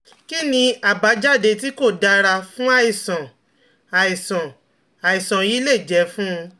Kí ni àbájáde tí kò dára fún àìsàn àìsàn àìsàn yìí lè jẹ́ fún?